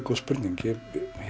góð spurning ég